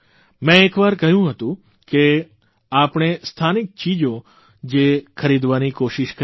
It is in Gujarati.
મેં એક વાર કહ્યું હતું કે આપણે સ્થાનિક ચીજો જ ખરીદવાની કોશિષ કરીએ